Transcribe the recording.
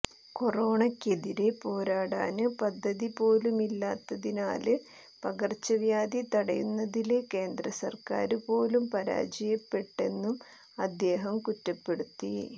കൊറോണക്കെതിരേ പോരാടാന് പദ്ധതി പോലുമില്ലാത്തതിനാല് പകര്ച്ചവ്യാധി തടയുന്നതില് കേന്ദ്രസര്ക്കാര് പോലും പരാജയപ്പെട്ടെന്നും അദ്ദേഹം കുറ്റപ്പെടുത്തി